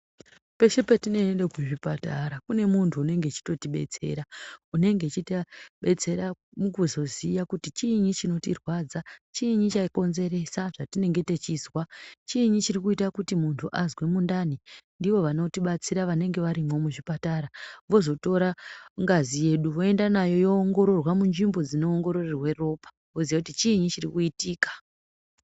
Peshe petinoende kuzvipatara kune muntu unenge eitotidetsera, unenge echitidetsera mukuzoziva kuti chii chinotirwadza chinyi chakonzeresa zvatinenge tichizwa, chinyi chitikuita kuti muntu azwe mundani, ndivo vanotibatsira vanenge varimo muchipatara vozotora ngazi yedu voende nayo voongororwa munzvimbo dzinoongororwa ropa vozive kuti chinyii chirikuitika.